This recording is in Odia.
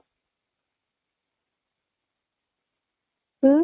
ହୁଁ